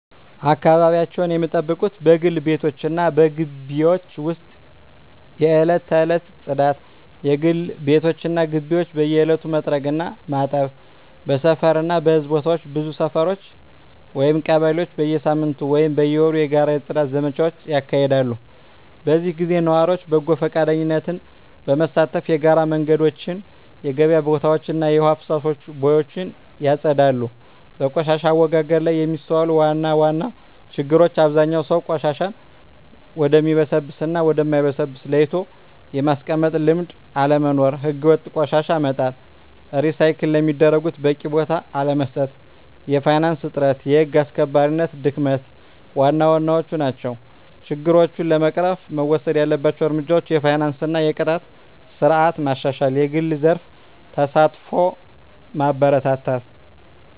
አካባቢያቸውን ሚጠብቁት በግል ቤቶች እና በግቢዎች ውስጥ የዕለት ተዕለት ጽዳት: የግል ቤቶች እና ግቢዎች በየዕለቱ መጥረግ እና ማጠብ። በሰፈር እና በሕዝብ ቦታዎች ብዙ ሰፈሮች (ቀበሌዎች) በየሳምንቱ ወይም በየወሩ የጋራ የጽዳት ዘመቻዎች ያካሂዳሉ። በዚህ ጊዜ ነዋሪዎች በጎ ፈቃደኝነት በመሳተፍ የጋራ መንገዶችን፣ የገበያ ቦታዎችን እና የውሃ ፍሳሽ ቦዮችን ያጸዳሉ። በቆሻሻ አወጋገድ ላይ የሚስተዋሉ ዋና ዋና ችግሮች አብዛኛው ሰው ቆሻሻን ወደሚበሰብስ እና ወደ ማይበሰብስ ለይቶ የማስቀመጥ ልምድ አለመኖር። ሕገወጥ ቆሻሻ መጣል፣ ሪሳይክል ለሚደረጉት በቂ ቦታ አለመስጠት፣ የፋይናንስ እጥረት፣ የህግ አስከባሪነት ድክመት ዋና ዋናዎቹ ናቸው። ችግሮችን ለመቅረፍ መወሰድ ያለባቸው እርምጃዎች የፋይናንስ እና የቅጣት ስርዓት ማሻሻል፣ የግል ዘርፍ ተሳትፎን ማበረታታት፣ …